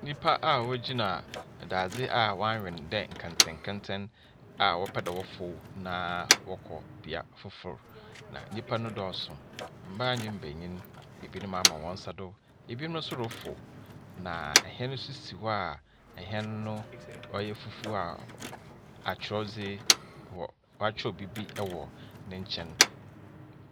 Nnipa a wogyina dadze a wɔabwen no dɛ nkɛntɛnkɛntɛn a wɔpɛ dɛ wofow na wɔkɔ bea fofor, na nnipa no dɔɔso. Mmaa ne mbenyin. Ebinom ama hɔn nsa do. Ebinom nso reforo, na hɛn nso si hɔ a ɛhɛn no ɔyɛ fufuo a atwerɛdze wɔ wɔatwerɛ biribi wɔ ne nkyɛn.